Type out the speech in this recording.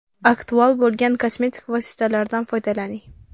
Aktual bo‘lgan kosmetik vositalardan foydalaning.